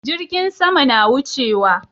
Jirgin sama na wucewa